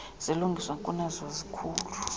silungiswa kunezo zikhulu